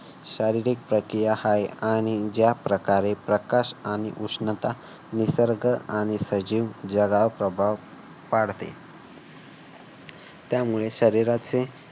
शारीरिक प्रक्रिया आहे आणि ज्या प्रकारे प्रकाश आणि उष्णता निसर्ग आणि सजीव जगावर प्रभाव पाडते. त्यामुळे शरीराचे